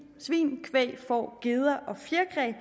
svin kvæg får geder og fjerkræ